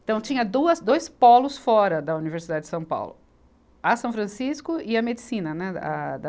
Então tinha duas, dois polos fora da Universidade de São Paulo, a São Francisco e a Medicina, né, a da.